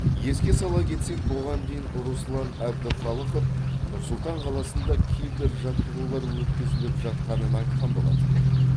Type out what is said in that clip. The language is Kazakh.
еске сала кетсек бұған дейін руслан әбдіхалықов нұр сұлтан қаласында кибер жаттығулар өткізіліп жатқанын айтқан болатын